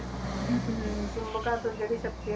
ਹਮ ਹਮ ਚੁੰਬਕਾਂ ਤੋਂ ਜਿਹੜੀ ਸ਼ਕਤੀ ਆ